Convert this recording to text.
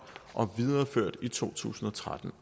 og videreført i to tusind og tretten